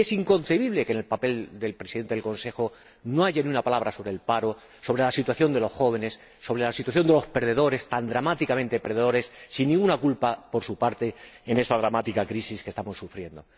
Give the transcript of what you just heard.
Y es inconcebible que en el documento del Presidente del Consejo no haya ni una palabra sobre el paro, sobre la situación de los jóvenes, sobre la situación de los perdedores —tan dramáticamente perdedores, sin ninguna culpa por su parte— en esta dramática crisis que estamos sufriendo.